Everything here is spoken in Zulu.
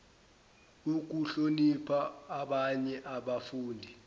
ukuhlonipha abanye abafundi